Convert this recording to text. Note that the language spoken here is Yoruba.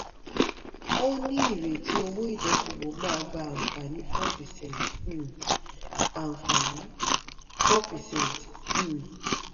ó ní ìrètí owó ìdókòwò máa gbà àǹfààní four percent. um àǹfààní four percent. um